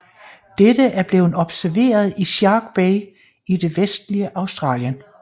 Dette er blevet observeret i Shark Bay i det vestligste Australien